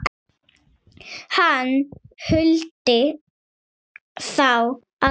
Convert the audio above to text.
Hann huldi þá alla